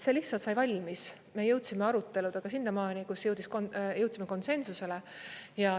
See lihtsalt sai valmis, me jõudsime aruteludega sinnamaani, kus jõudsime konsensusele.